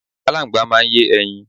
Aláńgbá máa ń yé ẹyin.